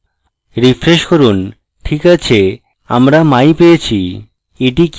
refresh করুন ok আছে আমরা my পেয়েছি